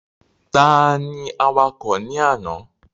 Ta ni awakọ̀ ní àná?